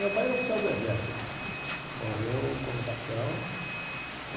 Meu pai era oficial do exército, morreu como capitão.